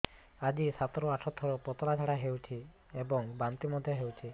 ଆଜି ସାତରୁ ଆଠ ଥର ପତଳା ଝାଡ଼ା ହୋଇଛି ଏବଂ ବାନ୍ତି ମଧ୍ୟ ହେଇଛି